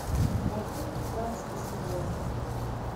парфюм пятнадцатый сезон